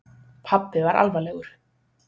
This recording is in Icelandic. Pabbi var alvarlegur.